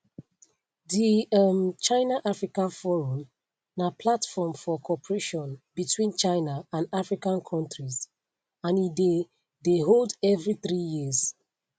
di um chinaafrica forum na platform for cooperation between china and african kontris and e dey dey hold evri three years